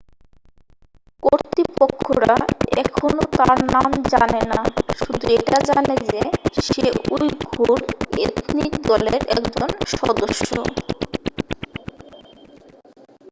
কর্তৃপক্ষরা এখনও তার নাম জানে না শুধু এটা জানে যে সে উইঘুর এথনিক দলের একজন সদস্য